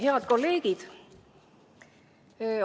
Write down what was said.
Head kolleegid!